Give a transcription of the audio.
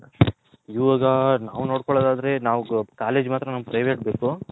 ಇವಾಗ ನಾವ್ ನೋಡ್ಕೊಲ್ಲದ್ ಆದ್ರೆ ನಾವ್ college ಮಾತ್ರ ನಮ್ಮಗ್ private ಬೇಕು